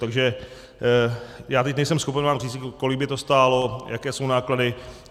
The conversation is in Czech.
Takže já teď nejsem schopen vám říct, kolik by to stálo, jaké jsou náklady.